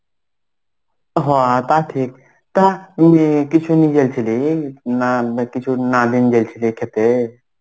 হ তা ঠিক. তা কিছু নিয়ে যাচ্ছিলি?. না কিছু না নিয়ে যাইছিলি খেতে?